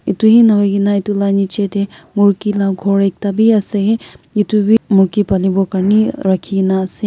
itu hi nahoigena itu laga niche teh murgi laga ghor ekta bi ase itu wii murgi paliwo karne rakhina ase.